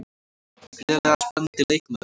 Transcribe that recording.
Gríðarlega spennandi leikmaður.